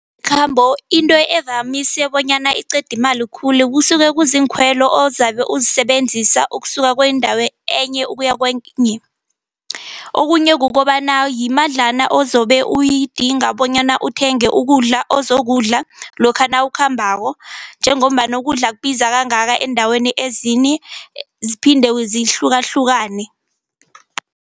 Into evamise bonyana iqeda imali khulu kusuke kuziinkhwelo ozabe uzisebenzisa ukusuka kwendawo enye ukuya kwenye. Okhunye kukobana yimadlana ozobe uyidinga bonyana uthenge ukudla ozokudla, lokha nawukhambako njengombana ukudla kubiza kangaka eendaweni ezinye ziphinde zihlukahlukene.